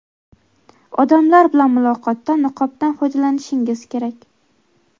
odamlar bilan muloqotda niqobdan foydalanishingiz kerak.